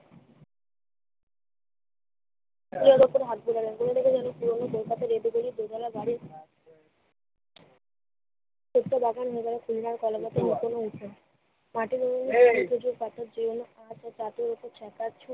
দোতালা বাড়ির কলাপাতায় মুড়ানো হয়েছে।